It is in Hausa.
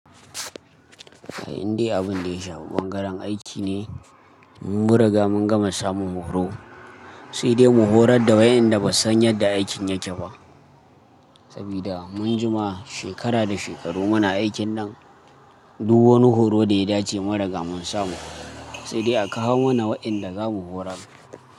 Eh, indai abin da ya shafi bangaren aiki ne. Mun riga mun gama samun horo, sai dai mu horar da wayenda ba su san yadda aikin yake ba. Saboda mun jima shekara da shekaru muna aikin nan, duk wani horo da ya dace mu riga mun samu. Sai dai a kawo mana waɗanda za mu horar.